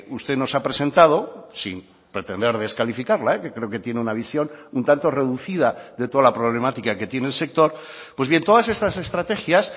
usted nos ha presentado sin pretender descalificarla que creo que tiene una visión un tanto reducida de toda la problemática que tiene el sector pues bien todas estas estrategias